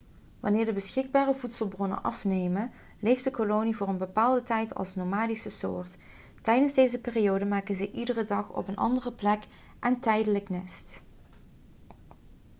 wanneer de beschikbare voedselbronnen afnemen leeft de kolonie voor een bepaalde tijd als nomadische soort tijdens deze periode maken ze iedere dag op een andere plek een tijdelijk nest